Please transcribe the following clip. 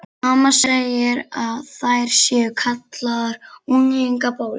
Mamma segir að þær séu kallaðar unglingabólur.